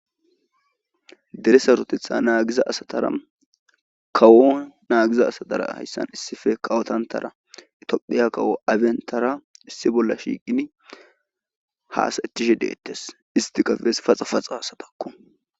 dere sarotetha naagiza asatara kawo naagiza asatara hayssan issife kawotantara itiophiya kawo abentara issi bolla shiiqini haasethishe deettes isti kabes paxa paxa hasatakku